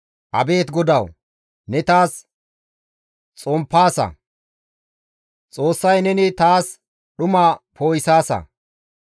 Abeet GODAWU! Ne taas xomppaasa; Xoossay neni taas dhuma poo7isaasa.